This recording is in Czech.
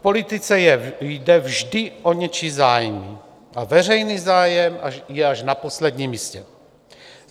V politice jde vždy o něčí zájmy a veřejný zájem je až na posledním místě.